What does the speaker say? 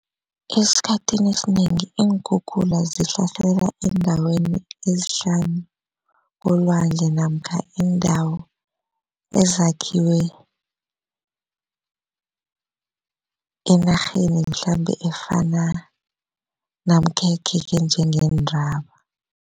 Esikhathini esinengi iinkhukhula zihlasela eendaweni ezihlanu kolwandle namkha iindawo ezakhiwe enarheni mhlambe efana namkha yekheke njengeentaba.